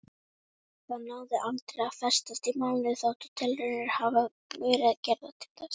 Það náði aldrei að festast í málinu þótt tilraunir hafi verið gerðar til þess.